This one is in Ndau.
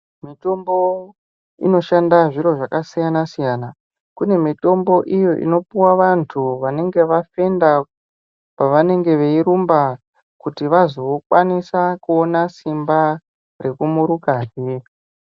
Mitombo inoshanda zviro zvakasiyana-siyana kune mitombo iyo inopuva vantu vanenge vafenda pavanenge veirumba. Kuti vazokwanisa kuona simba rekumurukahe.